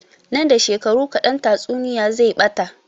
Nan da shekaru kaɗan tatsuniya zai ɓata